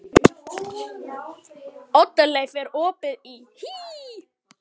Oddleif, er opið í HÍ?